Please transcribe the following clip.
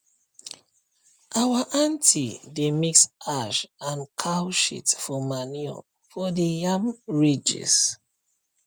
our aunty dey mix ash and cow shit for manure for the yam ridges